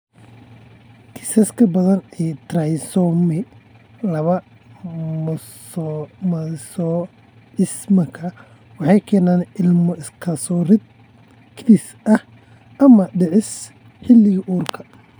Kiisaska badan ee trisomy laba mosaicismka waxay keenaan ilmo iska soo ridid ​​kedis ah ama dhicis xilliga uurka.